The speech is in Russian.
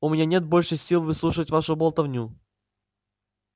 у меня нет больше сил выслушивать вашу болтовню